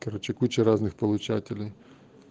короче куча разных получателей